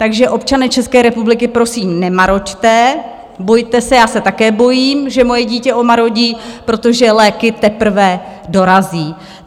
Takže občané České republiky, prosím, nemaroďte, bojte se, já se také bojím, že moje dítě omarodí, protože léky teprve dorazí.